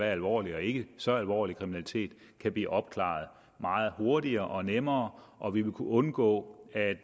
er alvorlig og ikke så alvorlig kriminalitet kan blive opklaret meget hurtigere og nemmere og vi vil kunne undgå at